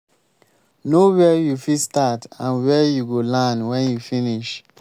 know where you fit start and where you go land when you finish